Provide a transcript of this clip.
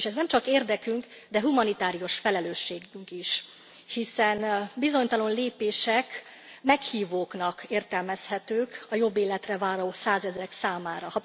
És ez nemcsak érdekünk, de humanitárius felelősségünk is, hiszen a bizonytalan lépések meghívóként értelmezhetők a jobb életre váró százezrek számára.